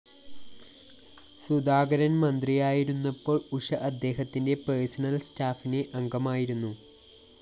സുധാകരന്‍ മന്ത്രിയായിരുന്നപ്പോള്‍ ഉഷ അദ്ദേഹത്തിന്റെ പേർസണൽ സ്റ്റാഫിലെ അംഗമായിരുന്നു